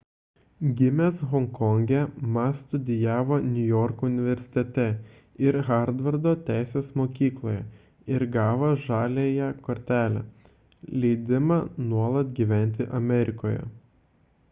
gimęs honkonge ma studijavo niujorko universitete ir harvardo teisės mokykloje ir gavo žaliąją kortelę leidimą nuolat gyventi amerikoje